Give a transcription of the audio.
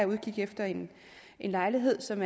udkig efter en lejlighed som